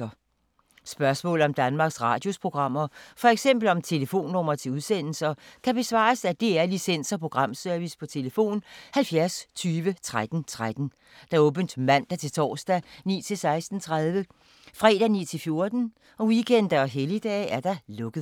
Spørgsmål om Danmarks Radios programmer, f.eks. om telefonnumre til udsendelser, kan besvares af DR Licens- og Programservice: tlf. 70 20 13 13, åbent mandag-torsdag 9.00-16.30, fredag 9.00-14.00, weekender og helligdage: lukket.